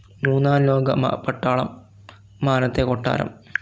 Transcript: മൂന്നാലോക പട്ടാളം, മാനത്തെ കൊട്ടാരം